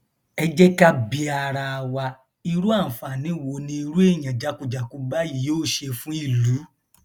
ẹ jẹ ká bi ara wa irú àǹfààní wo ni irú èèyàn jákujàku báyìí yóò ṣe fún ìlú